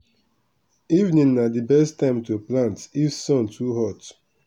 evening na d best time to plant if sun too hot.